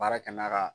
Baara kɛ n'a ka